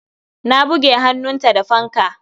Ta buge hannunta da fanka.